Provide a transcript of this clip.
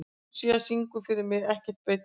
Lúísa, syngdu fyrir mig „Ekkert breytir því“.